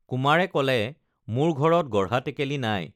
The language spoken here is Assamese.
কুমাৰে কলে মোৰ ঘৰত গঢ়া টেকেলি নাই